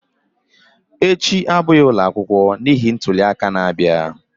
Echi abụghị ụlọ akwụkwọ n'ihi ntuli aka na-abịa